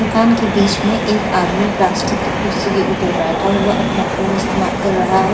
दुकान के बीच में एक आदमी प्लास्टिक की कुर्सी के ऊपर बैठा हुआ अपना फोन इस्तेमाल कर रहा है।